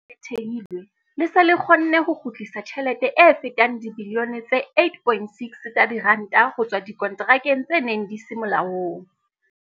Le thehilwe, le se le kgonne ho kgutlisa tjhelete e fetang dibilione tse 8.6 tsa diranta ho tswa dikonterakeng tse neng di se molaong.